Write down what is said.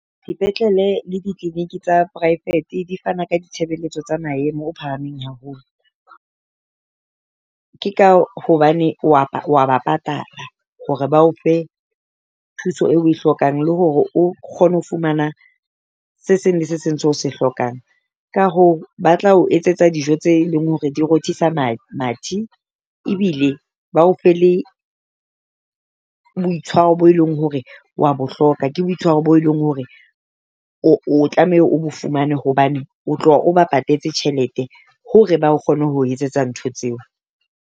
Dipetlele le di-clinic tsa private di fana ka di tshebeletso tsa maemo o phahameng haholo. Ke ka hobane wa wa ba patala hore ba o fe thuso eo oe hlokang, le hore o kgone ho fumana se seng le se seng seo o se hlokang. Ka hoo ba tla o etsetsa dijo tse leng hore di rothisa mathe, ebile bao fe le boitshwaro bo e leng hore wa bohloka ke boitshwaro bo leng hore o tlameha o bo fumane. Hobane o tloha o ba patetse tjhelete hore ba kgone ho etsetsa ntho tseo.